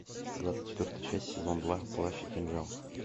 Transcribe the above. двадцать четвертая часть сезон два плащ и кинжал